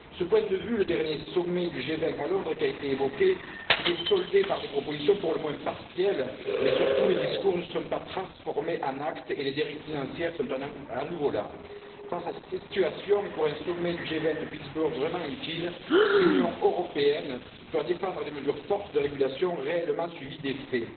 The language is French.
De ce point de vue, le dernier sommet du G20 à Londres, qui a été évoqué, s'était soldé par des propositions pour le moins partielles, mais surtout les discours ne se sont pas transformés en actes et les dérives financières sont à nouveau là. Face à cette situation, et pour que le sommet du G20 de Pittsburgh soit vraiment utile, l'Union européenne doit défendre des mesures fortes de régulation, qui soient réellement suivies d'effets.